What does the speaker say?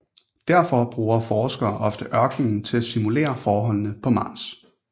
Derfor bruger forskere ofte ørkenen til at simulere forholdene på Mars